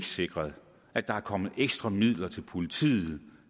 sikret at der er kommet ekstra midler til politiet